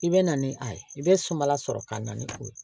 I bɛ na ni a ye i bɛ sumala sɔrɔ ka na ni o ye